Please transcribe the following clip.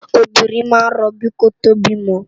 Óbirin má n ròbí kótó bimò